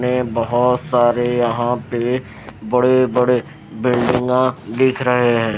ने बहुत सारे यहां पे बड़े-बड़े बिल्डिंगा देख रहे हैं।